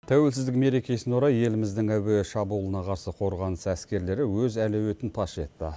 тәуелсіздік мерекесіне орай еліміздің әуе шабуылына қарсы қорғаныс әскерлері өз әлеуетін паш етті